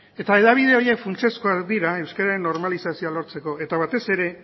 eta hedabide horiek funtsezkoak dira euskeraren normalizazioa lortzeko eta batez ere